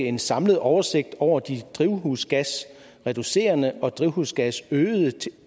en samlet oversigt over de drivhusgasreducerende og drivhusgasøgende